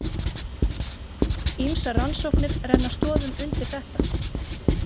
Ýmsar rannsóknir renna stoðum undir þetta.